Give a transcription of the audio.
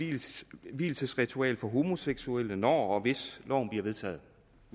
et vielsesritual for homoseksuelle når og hvis loven bliver vedtaget